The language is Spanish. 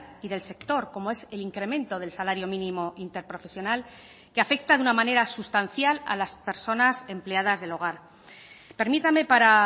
y del sector como es el incremento del salario mínimo interprofesional que afecta de una manera sustancial a las personas empleadas del hogar permítame para